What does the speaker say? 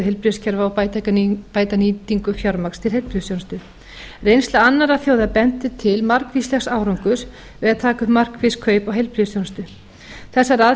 heilbrigðiskerfa og bæta nýtingu fjármagns til heilbrigðisþjónustu reynsla annarra þjóða bendir til margvíslegs árangurs við að taka upp markviss kaup á heilbrigðisþjónustu þessar